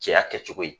Cɛya kɛcogo ye